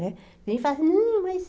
Né? Tem gente que fala, hum mas...